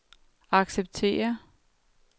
acceptere